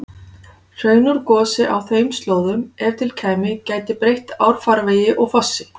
Hraun úr gosi á þeim slóðum, ef til kæmi, gæti breytt árfarvegi og fossi.